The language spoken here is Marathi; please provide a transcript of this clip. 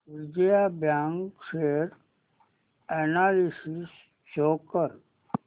Vijaya bank share analysis show कर